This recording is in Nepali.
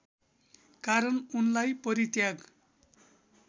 कारण उनलाई परित्याग